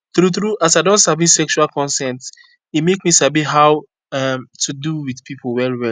true true as i don sabi sexual consent e make me sabi how um to do with people well well